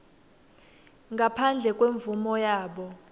ngaphandle kwemvumo yabo